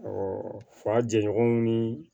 fa jɛɲɔgɔnw ni